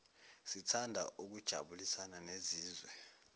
sithanda ukujabulisana nesizwe